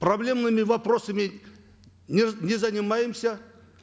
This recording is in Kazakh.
проблемными вопросами не не занимаемся